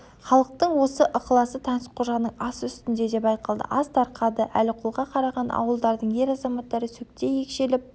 халықтың осы ықыласы таңсыққожаның асы үстінде де байқалды ас тарқады әліқұлға қараған ауылдардың ер-азаматтары сөктей екшеліп